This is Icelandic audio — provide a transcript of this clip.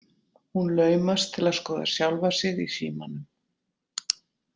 Hún laumast til að skoða sjálfa sig í símanum.